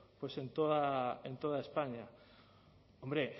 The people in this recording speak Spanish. pues en toda españa hombre